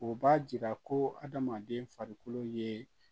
O b'a jira ko adamaden farikolo ye